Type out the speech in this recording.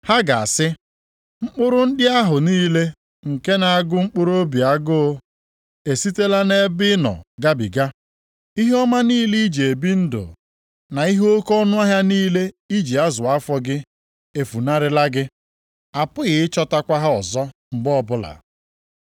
“Ha ga-asị, ‘Mkpụrụ ndị ahụ niile nke na-agụ mkpụrụobi agụ e sitela nʼebe ị nọ gabiga. Ihe ọma niile i ji ebi ndụ, na ihe oke ọnụahịa niile i ji azụ afọ gị, efunarịla gị. Apụghị ịchọtakwa ha ọzọ mgbe ọbụla.’